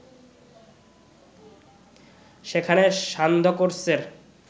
সেখানে সান্ধ্যকোর্সের